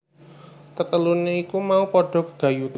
Tetelune iku mau padha gegayutan